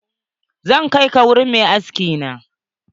Zan kai ka wurin mai aski na.